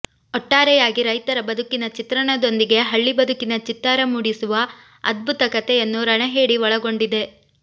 ಒಟ್ಟಾರೆಯಾಗಿ ರೈತರ ಬದುಕಿನ ಚಿತ್ರಣದೊಂದಿಗೆ ಹಳ್ಳಿ ಬದುಕಿನ ಚಿತ್ತಾರ ಮೂಡಿಸುವ ಅದ್ಭುತ ಕಥೆಯನ್ನು ರಣಹೇಡಿ ಒಳಗೊಂಡಿದೆ